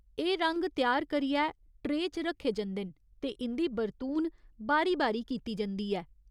एह् रंग त्यार करियै ट्रेऽ च रक्खे जंदे न ते इं'दी बरतून बारी बारी कीती जंदी ऐ।